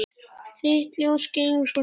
Þitt ljós skein svo skært.